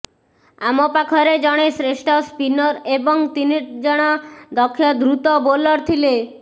ଆମ ପାଖରେ ଜଣେ ଶ୍ରେଷ୍ଠ ସ୍ପିନର ଏବଂ ତିନି ଜଣ ଦକ୍ଷ ଦ୍ରୁତ ବୋଲର ଥିଲେ